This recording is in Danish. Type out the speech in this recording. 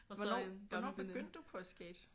Hvornår hvornår begyndte du på at skate?